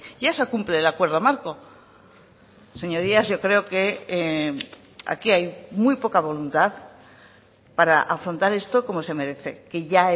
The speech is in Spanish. ya se cumple el acuerdo marco señorías yo creo que aquí hay muy poca voluntad para afrontar esto como se merece que ya